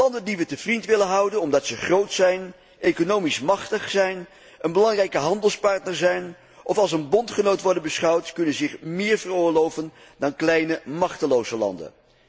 Landen die we te vriend willen houden, omdat ze groot zijn, economisch machtig zijn, een belangrijke handelspartner zijn, of als een bondgenoot worden beschouwd, kunnen zich meer veroorloven dan kleine machteloze landen.